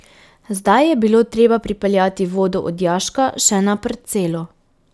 Zdaj je bilo treba pripeljati vodo od jaška še na parcelo.